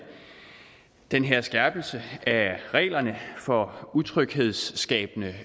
den her skærpelse af reglerne for utryghedsskabende